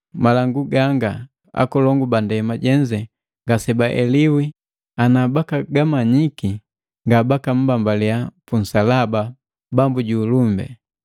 Malangu ganga, akolongu ba ndema jenze ngasebaeliwi ana bakagamanyiki ngabaka mmbambaliii punsalaba Bambu ju ulumbi.